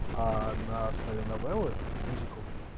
а на основе новеллы мюзикл